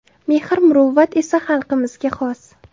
Mehr-muruvvat esa xalqimizga xos.